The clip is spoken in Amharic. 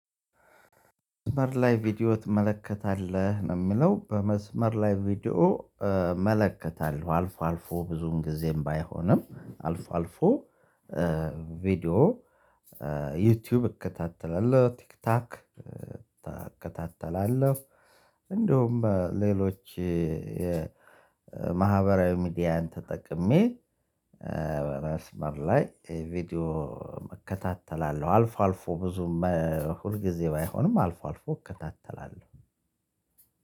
መስመር ላይ ቪዲዮ ትመለከታለህ ነው የሚለው በመስመር ላይ ቪዲዮ እመለከታለሁ አልፎ አልፎ ብዙን ጊዜም ባይሆንም አልፎ አልፎ። ቪዲዮ እከታተላለሁ። ቲክታክ እከታተላለሁ። እንደውም በሌሎች የማህበራዊ ሚዲያን ተጠቅሜ በመስመር ላይ ቪዲዮ እከታተላለሁ። አልፎ አልፎ ብዙም ሁል ጊዜ ባይሆንም አልፎ አልፎ እከታተላለሁ።